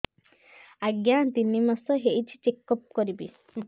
ଆଜ୍ଞା ତିନି ମାସ ହେଇଛି ଚେକ ଅପ କରିବି